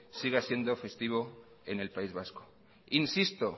siga siendo festivo en el país vasco insisto